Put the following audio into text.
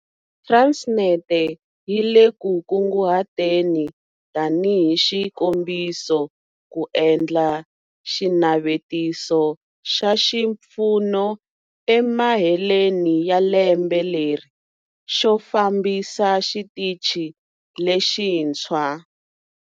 Transnet yi le ku kunguhateni, tanihi xikombiso, ku endla xinavetiso xa xipfuno emaheleni ya lembe leri xo fambisa Xitichi lexintshwa.